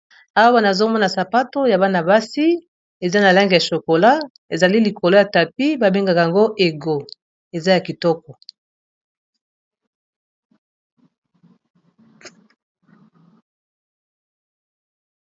awwana azomona sapato ya bana-basi eza na lenge ya chokola ezali likolo ya tapi babengaka yango ego eza ya kitoko